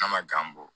N'a ma bɔ